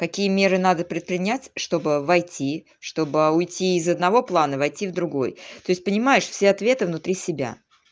какие меры надо предпринять чтобы войти чтобы уйти из одного плана войти в другой то есть понимаешь все ответы внутри себя